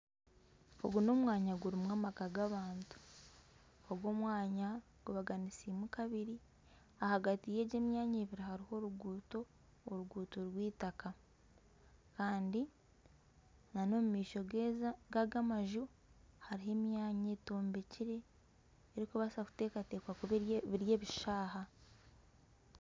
Ogu nomwanya gurimu amaka g'abantu ogu omwanya gubaganisiibwemu kabiri ahagati y'emyanya egi ebiri hariho oruguuto oruguuto rw'eitaka Kandi nana omumaisho gaga amaju hariho emyanya etombekire erikubaasa kutekatekwa biri ebishaayi.